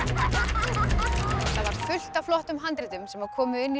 var fullt af flottum handritum sem komu inn í